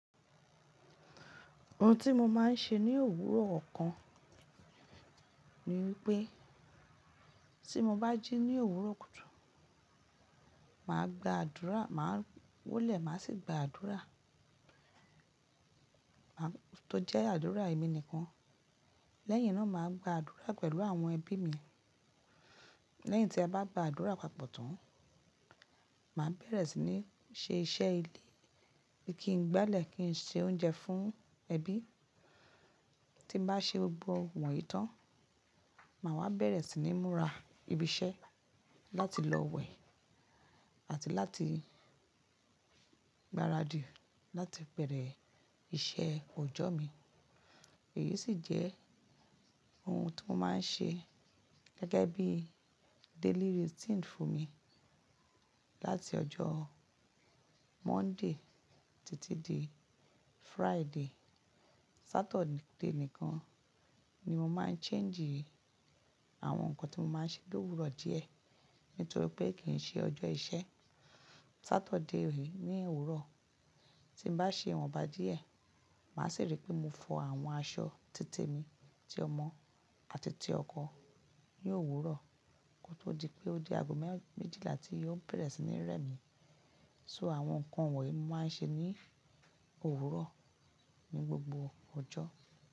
Ohun tí mo máa ń ṣe ní òwúrọ̀ ọ̀kan ni wípé tí mo bá jí ní òwúrọ̀ kùtù, màá gba àdúrà, màá wólẹ̀, màá sì gba àdúrà, tó jẹ́ àdúrà èmi nìkan. Lẹ́yìn náà màá gba àdúrà pẹ̀lú àwọn ẹbí mi. Lẹ́yìn tí a bá gba àdúrà papọ̀ tán, màá bẹ̀rẹ̀ sí ní ṣe iṣẹ́ ilé, kí n gbálẹ̀ kí n ṣe oúnjẹ fún ẹbí. Tí n bá ṣe gbogbo wọnyìí tán, màá wá bẹ̀rẹ̀ sí ní múra ibi iṣẹ́ láti lọ wẹ̀ àti láti gbaradì láti bẹ̀rẹ̀ iṣẹ́ ọjọ́ mi. Èyí sì jẹ́ ohun to máa ń ṣe gẹ́gẹ́ bí daily routine fúnmi láti ọjọ́ Monday títí di Friday. Saturday nìkan ni mo máa ń change àwọn nǹkan tí mo máa ń ṣe lówuro díẹ̀ nítorí pé kì í ṣe ọjọ́ iṣẹ́. Saturday re ní òwúrọ̀ tí bá ṣe iwọ́nbá díẹ̀, màá sì rí pé mo fọ àwọn aṣọ títèmi ti ọmọ àti ti ọkọ ní òwúrọ̀ kó tó di pé ó dé ago méjìlá tí yóò bẹ̀rẹ̀ sí ní rẹ́ mi. So àwọn nǹkan wọ̀nyí ni mo máa ń ṣe ní òwúrọ̀ ní gbogbo ọjọ́.